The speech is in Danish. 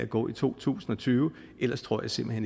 gå i to tusind og tyve ellers tror jeg simpelt